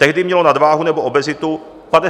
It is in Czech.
Tehdy mělo nadváhu nebo obezitu 55 % lidí.